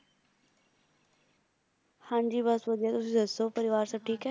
ਹਾਂਜੀ ਬਸ ਵਧੀਆ ਤੁਸੀਂ ਦੱਸੋ ਪਰਿਵਾਰ ਸਬ ਠੀਕ ਏ?